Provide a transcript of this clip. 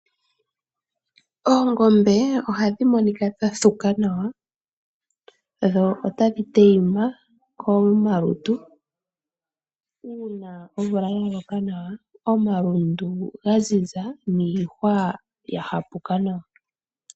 Oongombe ohadhi monika dha thuka nawa dho otadhi tayima komalutu uuna omvula yaloka nawa omalundu gaziza niihwa yahapuka nawa .